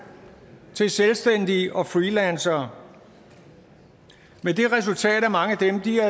til selvstændige og freelancere med det resultat at mange